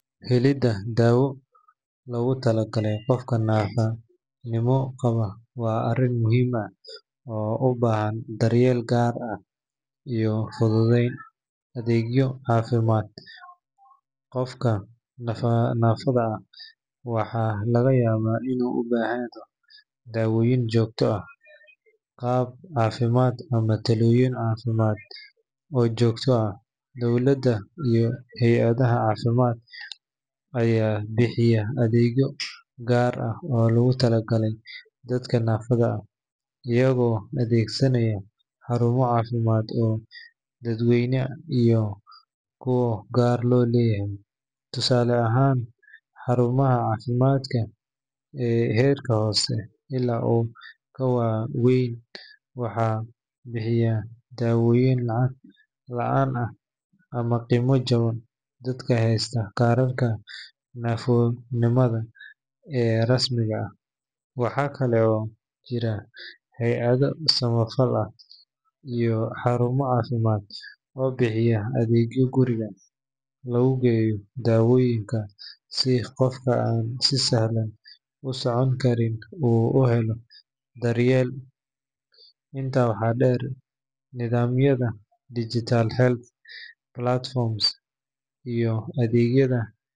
Helidda daawo loogu talagalay qof naafonimo qaba waa arrin muhiim ah oo u baahan daryeel gaar ah iyo fududeyn adeegyo caafimaad. Qofka naafada ah waxa laga yaabaa inuu u baahdo daawooyin joogto ah, qalab caafimaad ama talooyin caafimaad oo joogto ah. Dowladda iyo hay’adaha caafimaad ayaa bixiya adeegyo gaar ah oo loogu tala galay dadka naafada ah, iyagoo adeegsanaya xarumo caafimaad oo dadweyne iyo kuwa gaar loo leeyahay. Tusaale ahaan, xarumaha caafimaadka ee heerka hoose ilaa kuwa waaweyn waxay bixiyaan daawooyin lacag la’aan ah ama qiimo jaban dadka haysta kaarka naafonimada ee rasmiga ah. Waxaa kale oo jira hay’ado samafal ah iyo xarumo caafimaad oo bixiya adeegyo guriga lagu geeyo daawooyinka si qofka aan si sahlan u socon karin uu u helo daryeel. Intaa waxaa dheer, nidaamyada digital health platforms iyo adeegyada.